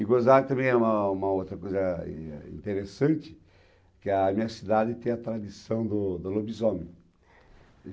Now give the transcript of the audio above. E gozado também é uma uma outra coisa interessante, é que a minha cidade tem a tradição do do lobisomem.